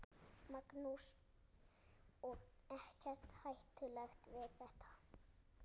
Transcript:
Magnús: Og ekkert hættulegt við þetta?